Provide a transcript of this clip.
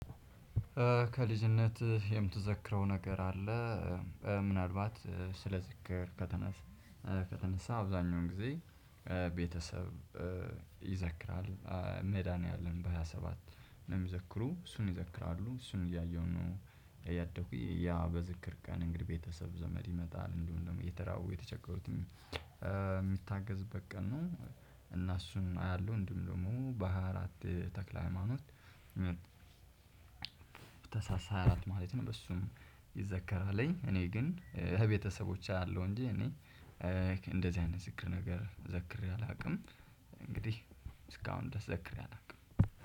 ከልጅነትህ የምትዘክረው ነገር አለ? ምናልባት ስለዚህ ከተነሳ አብዛኛውን ጊዜ ቤተሰብ ይዘክራል ሜዴኒያለም በሃያ ሰባት ነው ሚዘክሩ እሱን ይዘክራሉ እሱን እያየሁ ነው። ያደኩኝ ያ በዝክር ቀን እንግዲህ ቤተሰብ ዘመድ ይመጣል እንደውም ደግሞ የተራው የተቸገሩትም የሚታገዝበት ቀን ነው። እና እሱን አያለሁ እንዲሁም ደግሞ በሃያ አራት ተክለ ሃይማኖት ተሳሳለች ማለት ነው። እሱን ይዘከራለኝ እኔ ግን ቤተሰቦች አሉ እንጂ እኔ እንደዚህ አይነት ዝክር ነገር ዘክሬ አላውቅም። እንግዲህ እስካሁን ድረስ ዘክሬ አላውቅም።